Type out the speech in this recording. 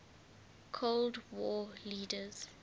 cold war leaders